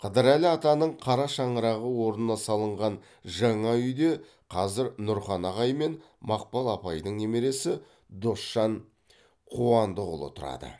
қыдырәлі атаның қара шаңырағы орнына салынған жаңа үйде қазір нұрхан ағай мен мақпал апайдың немересі досжан қуандықұлы тұрады